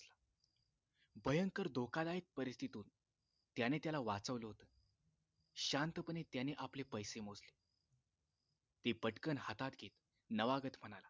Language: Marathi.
भयंकर धोकादायक परिस्थितीत तो त्याने त्याला वाचवलं होत शांतपणे त्याने आपले पैसे मोजले ते पटकन हातात घेत नवागत म्हणाला